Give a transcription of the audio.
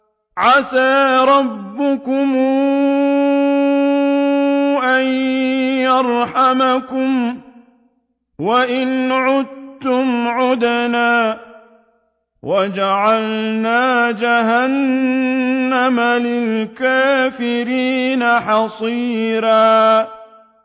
عَسَىٰ رَبُّكُمْ أَن يَرْحَمَكُمْ ۚ وَإِنْ عُدتُّمْ عُدْنَا ۘ وَجَعَلْنَا جَهَنَّمَ لِلْكَافِرِينَ حَصِيرًا